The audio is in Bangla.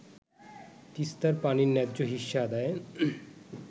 তিস্তার পানির ন্যায্য হিস্যা আদায়ে